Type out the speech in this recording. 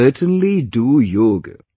Certainly do yoga